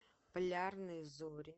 полярные зори